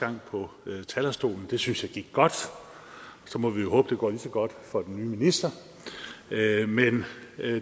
her på talerstolen det synes jeg gik godt så må vi jo håbe at det går lige så godt for den nye minister men